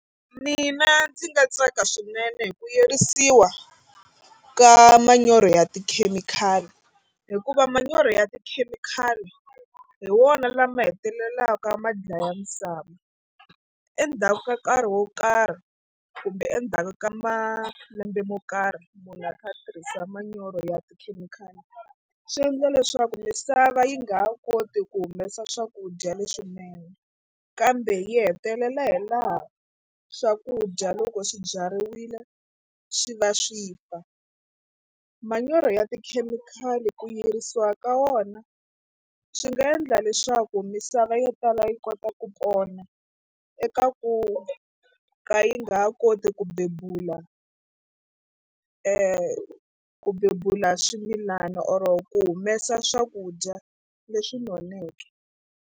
Mina ndzi nga tsaka swinene hi ku yirisiwa ka manyoro ya tikhemikhali hikuva manyoro ya tikhemikhali hi wona lama hetelelaka ma dlaya misava endzhaku ka nkarhi wo karhi kumbe endzhaku ka malembe mo karhi munhu a kha a tirhisa manyoro ya tikhemikhali swi endla leswaku misava yi nga ha koti ku humesa swakudya leswinene kambe yi hetelela hi laha swakudya loko swi byariwile swi va swi fa. Manyoro ya tikhemikhali ku yirisiwa ka wona swi nga endla leswaku misava yo tala yi kota ku pona eka ku ka yi nga ha koti ku bebula ku bebula swimilana or ku humesa swakudya leswi noneke.